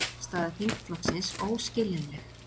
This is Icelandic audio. Afstaða þingflokksins óskiljanleg